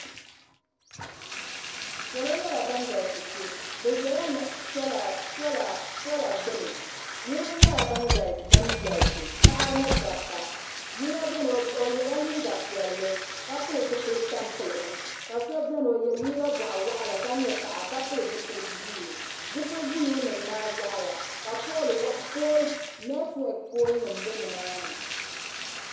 Salo nyɛla ban galisi kpe bɛ ʒɛla sola gbini niriba nyɛla ban galisi paɣaba ni dabba yino biɛni o yela liiga piɛlli ka pili zipil'tampiligim ka so biɛni o ye liiga boɣawaɣala ka nyɛ paɣa ka pili zipil'buluu zipil'buluu nima maa taɣaya ka neeti weki pooli nima be nimaani.